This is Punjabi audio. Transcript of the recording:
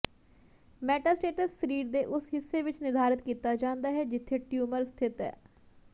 ਮੈਟਾਸਟੇਸਜ਼ ਸਰੀਰ ਦੇ ਉਸ ਹਿੱਸੇ ਵਿੱਚ ਨਿਰਧਾਰਤ ਕੀਤਾ ਜਾਂਦਾ ਹੈ ਜਿੱਥੇ ਟਿਊਮਰ ਸਥਿਤ ਹੈ